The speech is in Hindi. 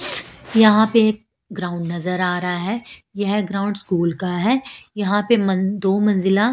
यहां पे एक ग्राउंड नजर आ रहा है यह ग्राउंड स्कूल का है यहां पे मन दो मंजिला--